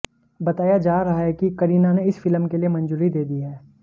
बताया जा रहा है कि करीना ने इस फिल्म के लिए मंजूरी दे दी है